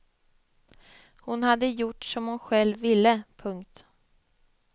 Hon hade gjort som hon själv ville. punkt